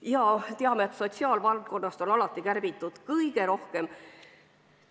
Me teame, et sotsiaalvaldkonnast on alati kärbitud kõige rohkem.